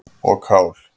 og kál.